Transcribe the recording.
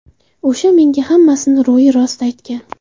O‘sha menga hammasini ro‘yi-rost aytgan.